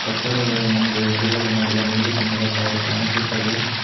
ತಡ ಮುಂದೆ ನಿಲ್ಗಡೆ ಮಾಡಿದ ನೀಲಿ ಬಣ್ಣದ ಕಾರ್ ಕಾಣಿಸುತ್ತದೆ.